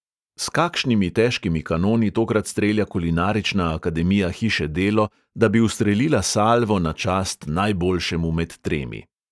S kakšnimi težkimi kanoni tokrat strelja kulinarična akademija hiše delo, da bi ustrelila salvo na čast najboljšemu med tremi!